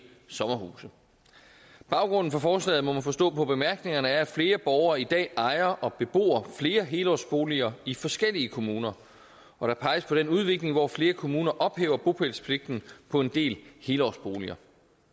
sommerhuse baggrunden for forslaget må man forstå på bemærkningerne er at flere borgere i dag ejer og bebor flere helårsboliger i forskellige kommuner og der peges på den udvikling hvor flere kommuner ophæver bopælspligten på en del helårsboliger